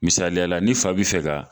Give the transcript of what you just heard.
Misaliyala ni fa bɛi fɛ ka